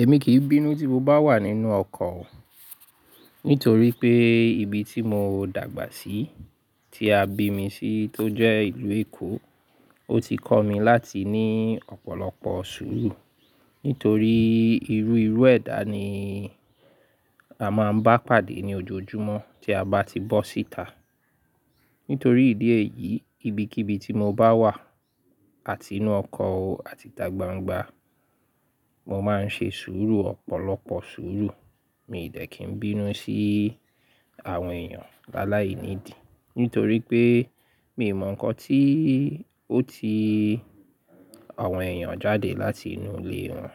Èmi kìí bínú tí mo bá wà nínú ọkọ̀ o, nítorí pé ibi tí mo dàgbà sí, tí a bí mi sí tó jẹ́ ìlú Èkó, ó ti kọ́ mi láti ní ọ̀pọ̀lọpọ̀ sùúrù. Nítorí irú irú ẹ̀dá ni a máa ń bá pàdé ní ojoojúmọ́ tí a bá ti bọ́ síta. Nítorí ìdí èyí, ibikíbi tí mo bá wà, àti inú ọkọ̀ o, àti ta gbangba, mo máa ń ṣe sùúrù ọ̀pọ̀lọpọ̀ sùúrù. Mi dẹ̀ kí n bínú sí àwọn èèyàn láláìnídi. Nítorí pé mi ò mọ̀ nǹkan tí ó ti àwọn èèyàn jáde láti inú ilé wọn.